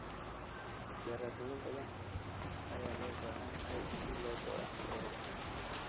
Daraasado badan ayaa loo baahan yahay si loo go'aamiyo ururkan.